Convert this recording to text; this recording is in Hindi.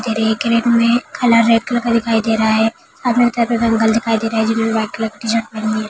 रैक में कलर रेड कलर का दिखाई दे रहा है सामने एक अंकल दिखाई दे रहे है जिन्होंने व्हाईट कलर की शर्ट पहनी हुई है।